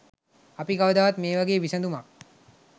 අපි කවදාවත් මේ වගේ විසඳුමක්